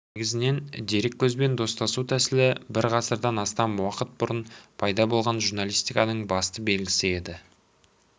негізінен дереккөзбен достасу тәсілі бір ғасырдан астам уақыт бұрын пайда болған журналистиканың басты белгісі еді